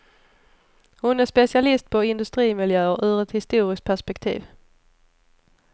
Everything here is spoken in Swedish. Hon är specialist på industrimiljöer, ur ett historiskt perspektiv.